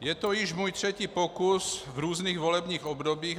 Je to již můj třetí pokus v různých volebních obdobích.